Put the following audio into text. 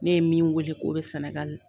Ne ye min weele k'o bɛ sɛnɛgali.